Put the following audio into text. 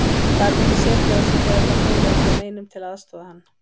Gat ekki á sér setið þegar það bólaði ekki á neinum til að aðstoða hann.